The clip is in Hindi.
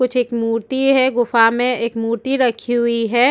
कुछ एक मूर्ति है गुफा में एक मूर्ति रखी हुई है।